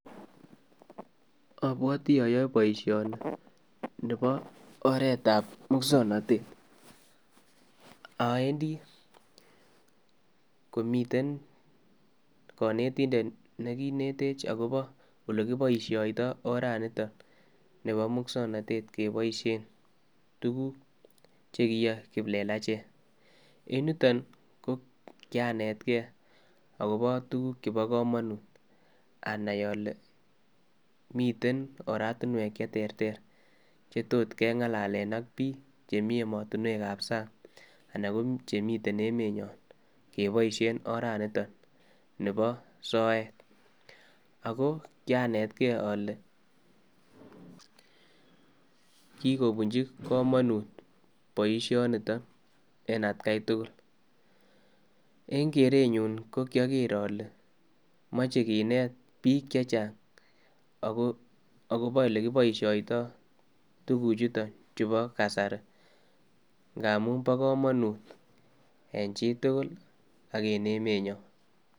Obwoti oyoe boishoni bo oreetab muswoknotet aendi komiten konetindet nekinetech olekiboishoito oranitok nibo muswoknotet keboishen tukuk chekoyoe kiplelachek, en yuton ko kianetke akobo tukuk chebo komonut anaii olee miten oratinwek cheterter chetot keng'alalen ak biik chemii emotinwekab sang anan ko chemii emenyon keboishen oraniton nebo soet, ak ko kianetke olee kikobunchi komonut boishoniton en atkai tukul, eng' kerenyun ko kioker olee moje kineet biik chechang akobo elekiboishoito tukuchuton chubo kasari ng'amun bokomonut en chitukul ak en emenyon.